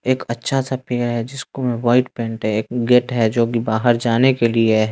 एक अच्छा सा पेड़ है जिसको व्हाईट पेंट है एक गेट हैं जो कि बाहर जाने के लिए हैं।